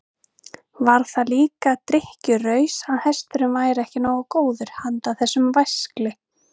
Var það líka drykkjuraus að hesturinn væri ekki nógu góður handa þessum væskli?